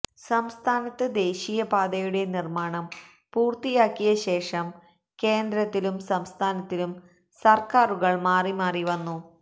സംസ്ഥാനത്ത് ദേശീയപാതയുടെ നിര്മാണം പൂര്ത്തിയാക്കിയശേഷം കേന്ദ്രത്തിലും സംസ്ഥാനത്തിലും സര്ക്കാരുകള് മാറിമാറി വന്നു